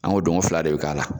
An ko donko fila de bɛ k'a la.